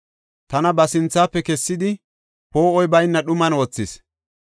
Tana ba sinthafe kessidi, poo7oy bayna dhuman wothis.